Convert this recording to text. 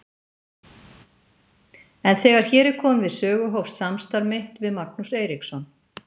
En þegar hér er komið sögu hófst samstarf mitt við Magnús Eiríksson.